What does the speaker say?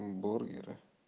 бургеры